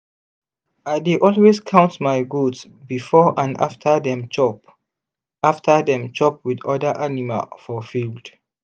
i dey always count my goat before and after dem chop after dem chop with other animal for field.